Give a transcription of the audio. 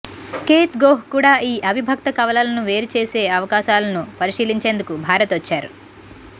kth Goh కూడా ఈ అవిభక్త కవలను వేరే చేసే అవకాశాలను పరిశీలించేందుకు భారత్ వచ్చారు